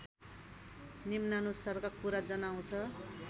निम्नानुसारका कुरा जनाउँछ